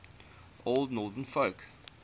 old northern folk